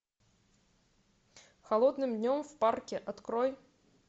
холодным днем в парке открой